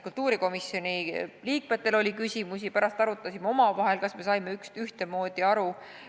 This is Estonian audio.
Kultuurikomisjoni liikmetel oli küsimusi, me arutasime omavahel, kas saime ikka ühtmoodi aru.